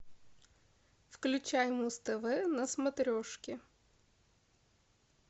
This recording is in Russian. включай муз тв на смотрешке